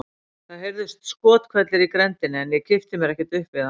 Það heyrðust skothvellir í grenndinni en ég kippti mér ekkert upp við það.